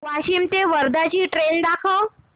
वाशिम ते वर्धा ची ट्रेन दाखव